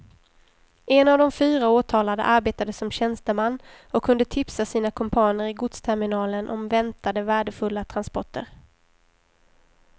En av de fyra åtalade arbetade som tjänsteman och kunde tipsa sina kumpaner i godsterminalen om väntade värdefulla transporter.